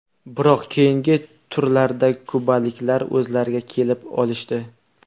Biroq keyingi turlarda kubaliklar o‘zlariga kelib olishdi.